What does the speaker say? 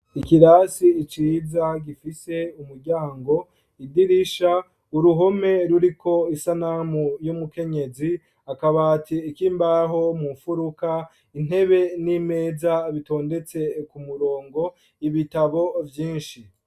Ikirasi ciza, gifise umuryango, idirisha, uruhome ruriko isanamu y'umukenyezi, akabati k'imbaho mu mfuruka, intebe n'imeza, bitondetse ku murongo, ibitabo vyinshi.